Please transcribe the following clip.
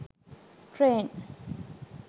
train